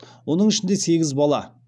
оның ішінде сегіз бала